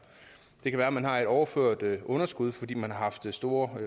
det kan være man har et overført underskud fordi man har haft store